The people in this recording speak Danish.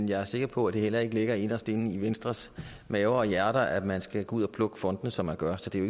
jeg er sikker på at det heller ikke ligger inderst inde i venstres maver og hjerter at man skal gå ud og plukke fondene som man gør så det er